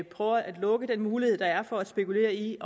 prøver at lukke den mulighed der er for at spekulere i